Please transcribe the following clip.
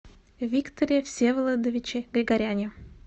викторе всеволодовиче григоряне